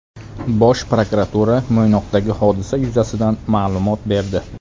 Bosh prokuratura Mo‘ynoqdagi hodisa yuzasidan ma’lumot berdi.